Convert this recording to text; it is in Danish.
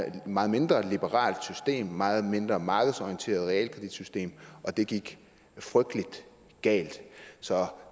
et meget mindre liberalt og et meget mindre markedsorienteret realkreditsystem og det gik frygtelig galt så